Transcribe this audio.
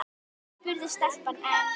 spurði stelpan enn.